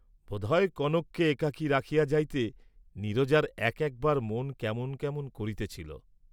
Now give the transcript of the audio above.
বোধ হয় কনককে একাকী রাখিয়া যাইতে নীরজার এক একবার মন কেমন করিতেছিল।